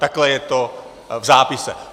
Takhle je to v zápisu.